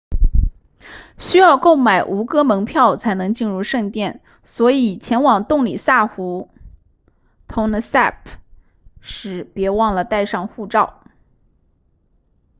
需要购买吴哥门票才能进入圣殿所以前往洞里萨湖 tonle sap 时别忘了带上护照